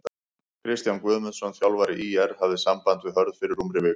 Kristján Guðmundsson þjálfari ÍR hafði samband við Hörð fyrir rúmri viku.